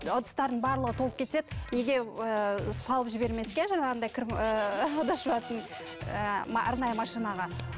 ыдыстардың барлығы толып кетеді неге ііі салып жібермеске жаңағындай кір ііі ыдыс жуатын ііі арнайы машинаға